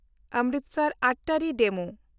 Amritsar Attari DEMU